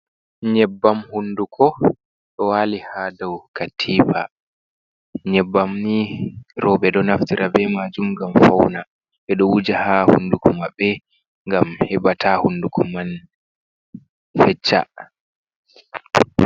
Nyebbam hunduko, ɗo wali ha daw katipa, nyebbam ni roɓe ɗo naftira be majum gam fauna ɓe ɗo wuja ha hunduko maɓɓe, gam heɓa ta hunduko man fecca.